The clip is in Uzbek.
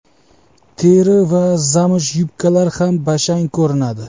Teri va zamsh yubkalar ham bashang ko‘rinadi.